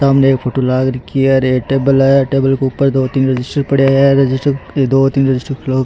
सामने एक फोटो लाग रखी हैं एक टेबल है टेबल के ऊपर दो तीन रजिस्टर पड़ा है --